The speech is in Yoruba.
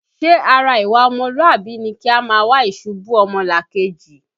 Ṣé ara ìwà ọmọlúàbí ni kí a máa wá ìṣubú ọmọlàkejì?